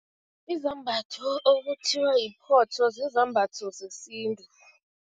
Izambatho okuthiwa yiphotho zizambatho zesintu.